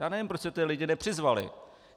Já nevím, proč jste ty lidi nepřizvali.